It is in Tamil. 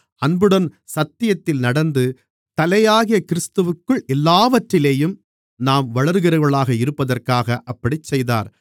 அன்புடன் சத்தியத்தில் நடந்து தலையாகிய கிறிஸ்துவிற்குள் எல்லாவற்றிலேயும் நாம் வளருகிறவர்களாக இருப்பதற்காக அப்படிச் செய்தார்